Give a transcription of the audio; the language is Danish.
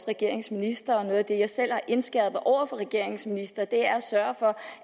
regeringens ministre og noget af det jeg selv har indskærpet over for regeringens ministre er at sørge for